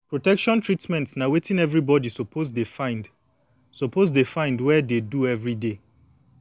protection treatment na wetin everybody suppose dey find suppose dey find wey dey do everyday